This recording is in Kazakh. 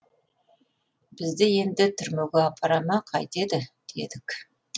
бізді енді түрмеге апара ма қайтеді дедік